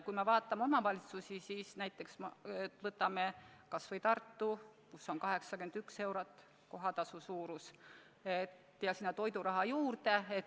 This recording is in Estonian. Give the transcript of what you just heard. Kui me vaatame omavalitsusi, võtame kas või Tartu, siis seal on kohatasu 81 eurot ja sinna läheb toiduraha juurde.